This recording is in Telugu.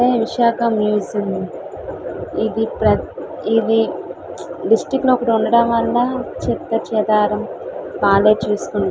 విశాఖ మ్యూజియం ఇది ప్రతి ఇది డిస్టిక్ట్ లో ఒకటి ఉండడం వల్ల చెత్త చెదారం వాల్లే చూసుకుంటారు.